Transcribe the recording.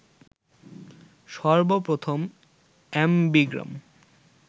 সর্বপ্রথম অ্যামবিগ্রাম